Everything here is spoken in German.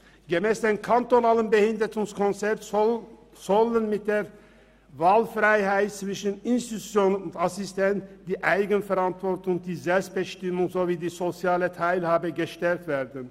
Gemäss dem kantonalen Behindertenkonzept sollen mit der Wahlfreiheit zwischen Institution und Assistenz die Eigenverantwortung, die Selbstbestimmung sowie die soziale Teilhabe gestärkt werden.